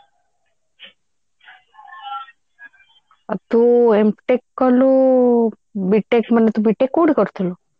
ଆଉ ତୁ M tech କଲୁ B tech ମାନେ ତୁ B tech କୋଉଠି କରିଥିଲୁ